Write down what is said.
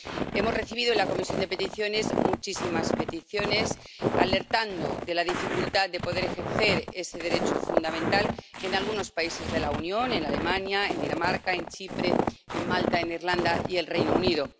Hemos recibido en la Comisión de Peticiones muchísimas peticiones alertando de la dificultad de poder ejercer ese derecho fundamental en algunos países de la Unión en Alemania, en Dinamarca, en Chipre, en Malta, en Irlanda y en el Reino Unido